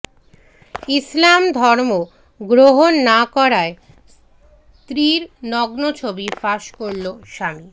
ইসলাম ধর্ম গ্রহণ না করায় স্ত্রীর নগ্ন ছবি ফাঁস করল স্বামী